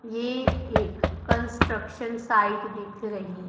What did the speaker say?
ये एक construction site दिख रही--